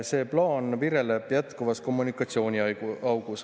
See plaan vireleb jätkuvas kommunikatsiooniaugus.